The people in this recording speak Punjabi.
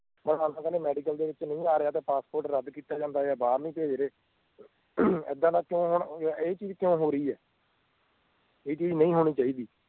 ਫਿਲਹਾਲ ਤਾਂ ਕਹਿੰਦੇ medical ਦੇ ਵਿਚ ਨਹੀਂ ਆ ਰਿਹਾ ਤਾਂ passport ਰੱਦ ਕਿੱਤਾ ਜਾ ਜਾਂਦਾ ਆ ਜਾਂ ਬਾਹਰ ਨੀ ਪੇਜਦੇ ਏਦਾਂ ਨਾ ਤਾਂ ਹੁਣ ਇਹ ਚੀਜ਼ ਕਿਉਂ ਹੋ ਰਹੀ ਆ ਇਹ ਚੀਜ਼ ਨਹੀਂ ਹੋਣੀ ਚਾਹੀਦੀ